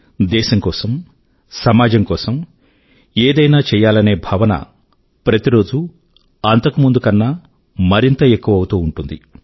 దేశం కోసం సమాజం కోసం ఏదైనా చెయ్యాలనే భావన ప్రతి రోజూ అంతకు ముందు కన్నా మరింత ఎక్కువ అవుతూ ఉంటుంది